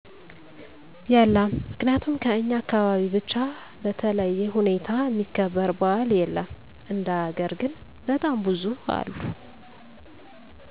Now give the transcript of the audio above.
የለም ምክንያቱም ከኛ አካባቢ ብቻ በተለዬ ሁኔታ እሚከበር በዓል የለም እንደ ሀገር ግን በጣም ብዙ አለ